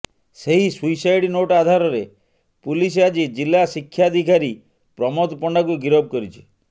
ସେହି suicide note ଆଧାରରେ ପୁଲିସ ଆଜି ଜିଲ୍ଲା ଶିକ୍ଷାଧିକାରୀ ପ୍ରମୋଦ ପଣ୍ଡାଙ୍କୁ ଗିରଫ କରିଛି